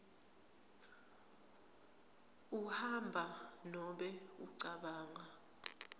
uhamba nobe ucabanga